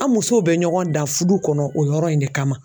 An musow bɛ ɲɔgɔn da furu kɔnɔ o yɔrɔ in de kama